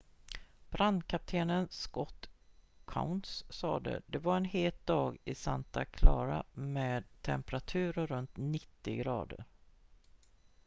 "brandkapten scott kouns sade "det var en het dag i santa clara med temperaturer runt 90 grader.